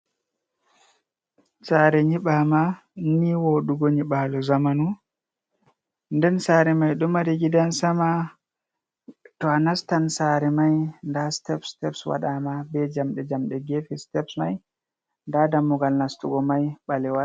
Sare nyibama nii wodugo nyibalu zamanu nden tsare mai domari gidan sama to a nastan tsare mai da step-step wadama be jamde jamde gefe steps mai, da dammugal nastugo mai balewal.